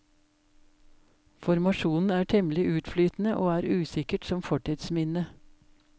Formasjonen er temmelig utflytende, og er usikkert som fortidsminne.